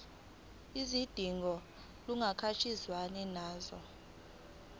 izidingo kuhlangatshezwane nazo